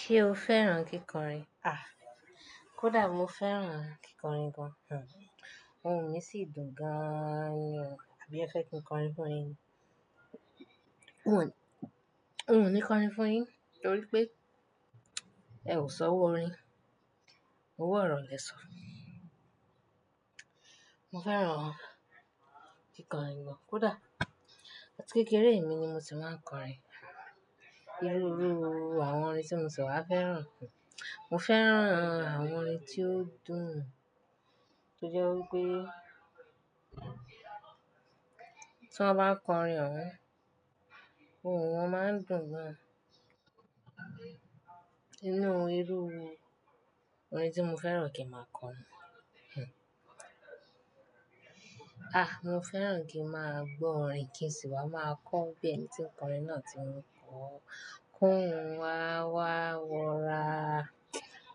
Ṣé o fẹ́ràn kíkọrin? A! Kódà mo fẹ́ràn kíkọrin gan. Òhun mí sí dùn gan ni o. Abí ẹ fẹ́ kí n kọrin fún yin ni? Òhun o ní kọrin fún yin Torí pé, ẹ ò sọwo orin. Owọ̀ ọro lẹ̀ sọ́. Mo fẹ́ràn kíkọrin gan. Kódà, áti kékeré mi ni mo ti máa ń kọrin. Irú irú àwọn orin tí mo sì wa fẹ́ràn. Mo fẹ́ràn àwọn orin tí ó dùn-ún. Tí ó jẹ́ wípé tí wọ́n bá n kọrin, òun, òhun won máa ń dùn gan. Inú irú orin tí mo fẹ́ràn kí a máa kọ ni. Ah, mo fẹ́ràn kí a máa gbọ́ orin kí sì wá máa kọ bí ẹni tí ń kọrin náà ti ń kọ, ki óhún wa wá wọra.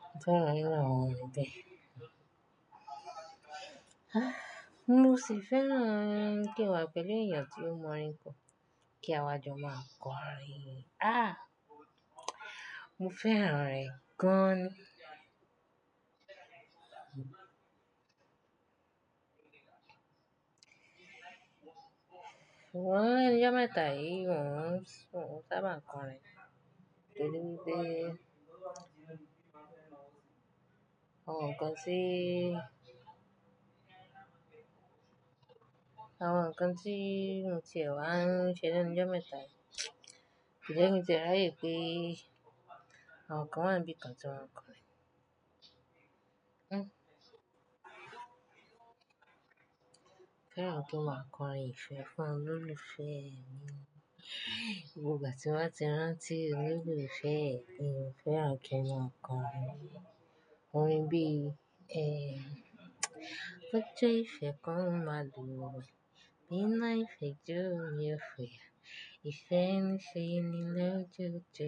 Mo fẹ́ràn irú àwọn orin bẹ́ẹ̀. Mo sì fẹ́ràn kí n wá pẹ̀lú èèyàn tí ó mọ orin ko, kí a jọ máa kọ orin. Mo fẹ́ràn rẹ̀ gan ni. Sugbon lenu ijomẹ́ta yìí, wo n sábà máa ń kọrin. Pẹ̀lú pé àwọn nkan ti àwọn nkan ti motí ẹ wá ń ṣe ni enu ijo mẹ́ta yìí. Ko je ki n ti e raye wipe àwọn kan wá ń bíi kan tí wọ́n ń kọrin. Mo fẹ́ràn kí n máa kọ'rin Ìfẹ́ fún olólùfẹ́ mi'. Gbogbo ìgbà ti n bá ti rántí olólùfẹ́ mi, mo fẹ́ràn kí n máa kọ'rin. Orin bí bi ojo ife kan máa won e, iná ìfẹ́ jọ mi ó fúyà. Ìfẹ́ n ṣe ni lójoojo,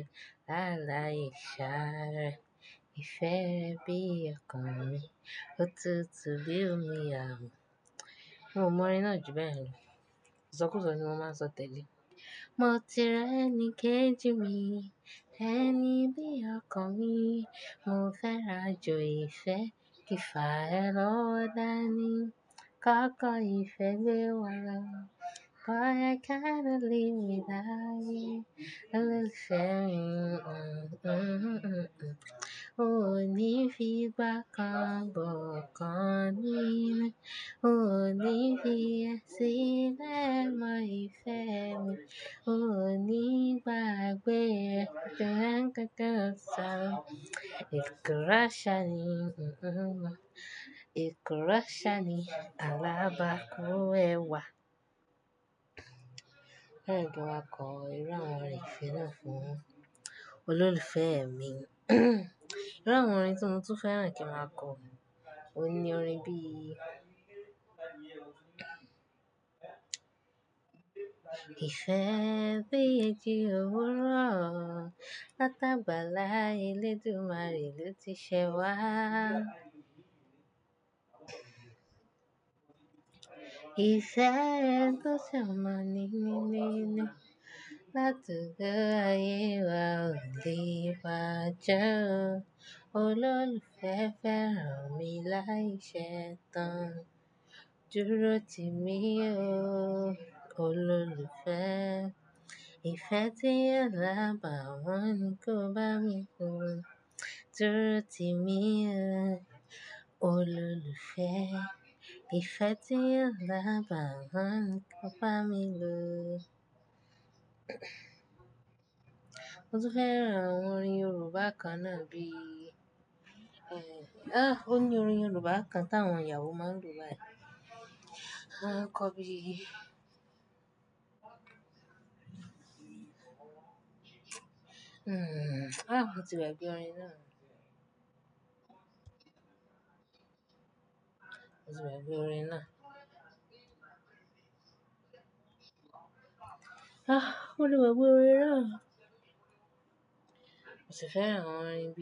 lailáìṣàárẹ́. Ìfẹ́ re bí ọkàn mi, òtútù bí omi amu'. Mo mọ orin náà ju bẹ́ẹ̀ yen lọ. iṢọkùsọ ni mo máa ń sọ tẹ́le. 'Mo ti rí ẹnikéjì mi, ẹni bí ọkan mi. Mo fẹ́rin ajo ìfẹ́ kífa ẹ lọwo dáani. Kọ́kọ́ ìfẹ́ gbe wa lọ, boy I cannot live without you, olólùfẹ́ mi. Oh, oh, oh, oh. O ní fi'gba kan bókan ninu Mio ní fi e sílẹ̀ mọ́ ìfẹ́ mi. O ní ìgbàgbé rẹ̀ tó ń gẹ gẹ ọsàn. Ìkọ́rẹ́ ṣá ni ekuro sani alábàákú ẹwà'. Mo fẹ́ràn kí n máa kọ irú àwọn orin ìfẹ́ náà fún olólùfẹ́ mi. Irú àwọn orin tí mo tún fẹ́ràn kí a máa kọ, òní orin bíi 'Ìfẹ́ bí èji owuro, látagbala Eledumare lo tí ṣẹ wá. Ife to toro minimini, tabawon aye kan le baje o Ololufe feran mi laisetan Durotimi o, ololufe Ìfẹ́ tí ko lábàá wọn ni kò bá mi ló. Dúró tì mí ọ, olólùfẹ́. Ìfẹ́ tí o lábàá wọn ni kò bá mi ló'. Mo tún fẹ́ràn àwọn orin Yorùbá kan náà bí Ó ní orin Yorùbá kan tí àwọn iyawo máa ń lo bayii, A ń kọ bí Hmn. Ah! Mo ti gbagbé orin náà? Mo ti gbagbé orin náà. Mo si feran awon orin bi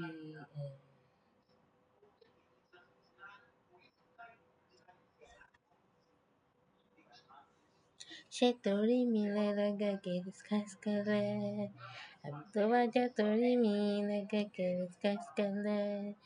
nitori mi lelo ge gele skeskele abi tobaje tori mi lege gele skeskele Àbí tó bá jẹ tó rí mi lẹ́ẹ̀dẹ́gẹ́ ké ti sky's the limit.